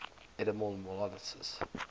edible molluscs